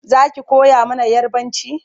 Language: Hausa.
Zaki koya mana yarbanci?